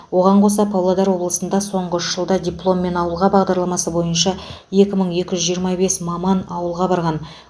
оған қоса павлодар облысында соңғы үш жылда дипломмен ауылға бағдарламасы бойынша екі мың екі жүз жиырма бес маман ауылға барған